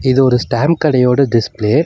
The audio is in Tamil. இது ஒரு ஸ்டாம்ப் கடையோட டிஸ்ப்ளே .